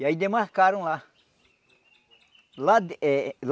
E aí demarcaram lá. Lá eh